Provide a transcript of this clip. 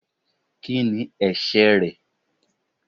Kí ni ẹ̀ṣẹ̀ rẹ̀?